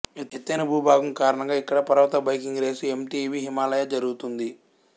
ఎత్తైన భూభాగం కారణంగా ఇక్కడ పర్వత బైకింగ్ రేసు ఎంటిబి హిమాలయ జరుగుతుంది